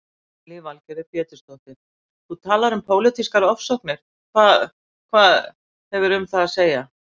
Lillý Valgerður Pétursdóttir: Þú talar um pólitískar ofsóknir, hvað, hvað, hefur um það að segja?